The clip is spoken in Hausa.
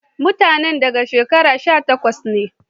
Mutanen da daga shekara sha takwas nee